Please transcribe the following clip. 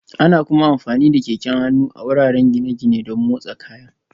Ana kuma amfani da keken hannu a wuraren gine-gine don motsa kayan